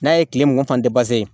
N'a ye tile mugan fan